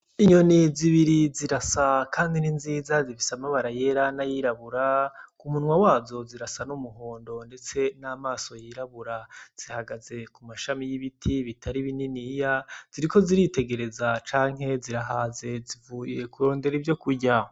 Inyoni zibiri zirasa kandi ni nziza. Zifise amabara yera n'ayirabura. Ku munwa wazo zirasa n'umuhondo, ndetse n'amaso yirabura. Zihagaze ku mashami y'ibiti bitari bininiya. Ziriko ziritegereza canke zirahaze. Zivuye kurondera ivyokurya.